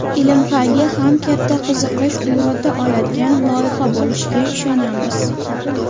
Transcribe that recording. ilm-fanga ham katta qiziqish uyg‘ota oladigan loyiha bo‘lishiga ishonamiz.